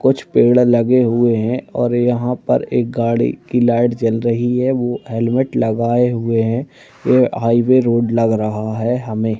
कुछ पेड़ लगे हुए हैं और यहाँ पर एक गाड़ी कि लाइट जल रही है वो हेलमेट लगाए हुए हैं ये हाइवै रोड लग रहा है हमें--